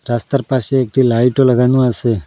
রাস্তার পাশে একটি লাইটও লাগানো আসে।